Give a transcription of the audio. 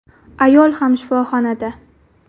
Ayol ham shifoxonada.